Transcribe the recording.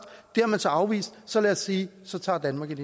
det har man så afvist så lad os sige så tager danmark et